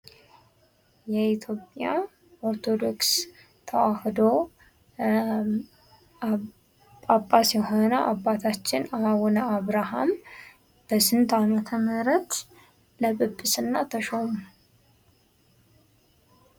የኢትዮጵያ ኦርቶዶክስ ተዋህዶ ጳጳስ የሆነው አባታችን አቡነ አብረሀም በስንት አመተ ምህረት ለጵጵስና ተሾሙ?